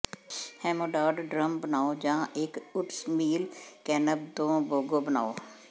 ਹੋਮੈਡਾਡ drum ਬਣਾਉ ਜਾਂ ਇੱਕ ਓਟਮੀਲ ਕੈਨਬ ਤੋਂ ਬੋਂਗੋ ਬਣਾਉ